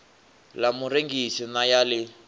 ḽa murengisi na ya ḽi